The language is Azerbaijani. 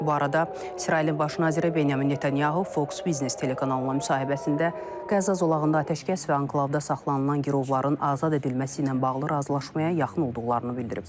Bu arada İsrailin baş naziri Benyamin Netanyahu Fox Business telekanalına müsahibəsində Qəzza zolağında atəşkəs və anklavda saxlanılan girovların azad edilməsi ilə bağlı razılaşmaya yaxın olduqlarını bildirib.